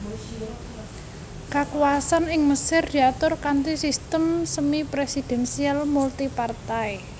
Kakuwasan ing Mesir diatur kanthi sistem semipresidensial multipartai